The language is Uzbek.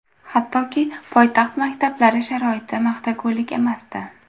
Hattoki poytaxt maktablari sharoiti maqtagulik emasdi.